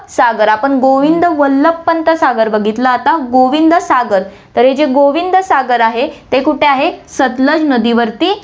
सागर आपण गोविंद वल्लभ पंत सागर बघितलं आता, गोविंद सागर तर हे जे गोविंद सागर आहे, ते कुठे आहे, सतलज नदीवरती